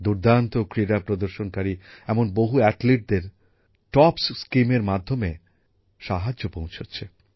দুর্দান্ত ক্রীড়া প্রদর্শনকারী এমন বহু খেলোয়াড়দের টপস প্রকল্পের মাধ্যমে সাহায্য পৌঁছাচ্ছে